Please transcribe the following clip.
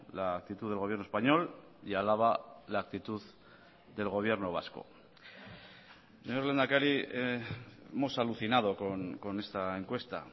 la actitud del gobierno español y alaba la actitud del gobierno vasco señor lehendakari hemos alucinado con esta encuesta